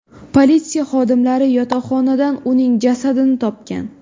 Politsiya xodimlari yotoqxonadan uning jasadini topgan.